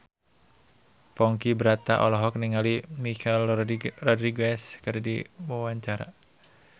Ponky Brata olohok ningali Michelle Rodriguez keur diwawancara